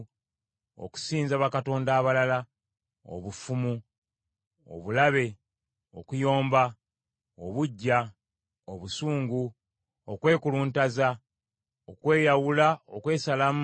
Okusinza bakatonda abalala, obufumu, obulabe, okuyomba, obuggya, obusungu, okwekuluntaza, okweyawula, okwesalamu,